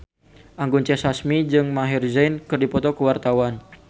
Anggun C. Sasmi jeung Maher Zein keur dipoto ku wartawan